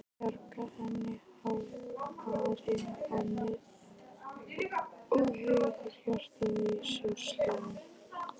Bjarga henni? hváir hann og heyrir hjartað í sér slá.